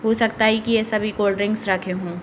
हो सकता है कि ये सभी कोल्ड्रिंक्स रखें हों ।